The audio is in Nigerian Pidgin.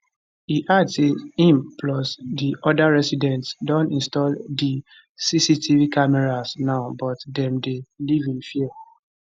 e add say im plus di oda residents don install di cctv cameras now but dem dey live in fear